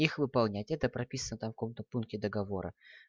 их выполнять это прописано в каком-то пункте договора